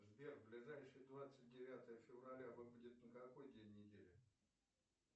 сбер ближайшее двадцать девятое февраля выпадет на какой день недели